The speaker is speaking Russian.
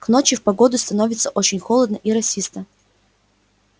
к ночи в погоду становится очень холодно и росисто